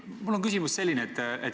Mul on selline küsimus.